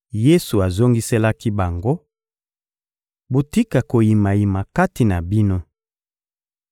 Yesu azongiselaki bango: — Botika koyimayima kati na bino!